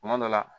Kuma dɔ la